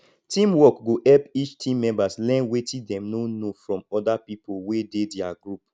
teamwork go help each team members learn wetin dem no know from other people wey dey their group